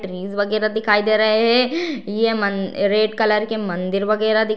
Trees वगैरा दिखाई दे रहे है। ये मन रेड कलर के मंदिर वगेरा दिख --